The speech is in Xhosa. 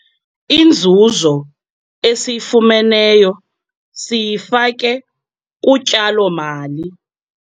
Inzuzo esiyifumeneyo siyifake kutyalo-mali.